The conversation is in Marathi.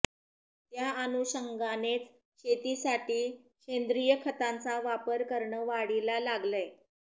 त्या अनुषंगानेच शेतीसाठी सेंद्रिय खतांचा वापर करणं वाढीला लागलंय